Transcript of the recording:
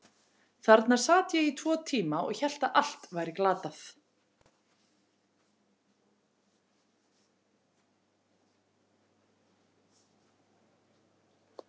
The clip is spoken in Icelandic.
Þarna sat ég í tvo tíma og hélt að allt væri glatað.